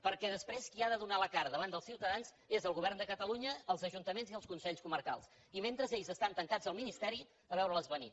perquè després qui ha de donar la cara davant dels ciutadans és el govern de catalunya els ajuntaments i els consells comarcals i mentre ells estan tancats al ministeri a veure les venir